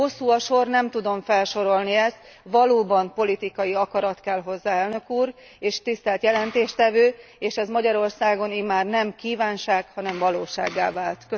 Hosszú a sor, nem tudom felsorolni ezt, valóban politikai akarat kell hozzá, Elnök úr, és tisztelt jelentéstevő, és ez Magyarországon nem kívánság, hanem valósággá vált.